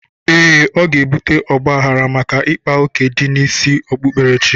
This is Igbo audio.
Ee, ọ ga-ebute ọgbaghrara maka ịkpa oké ndị isi okpukperechi.